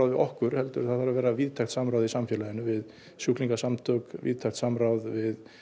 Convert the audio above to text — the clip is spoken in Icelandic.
við okkur heldur það þarf að vera víðtækt samráð í samfélaginu við sjúklingasamtök víðtækt samráð við